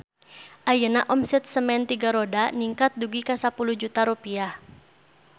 Ayeuna omset Semen Tiga Roda ningkat dugi ka 10 juta rupiah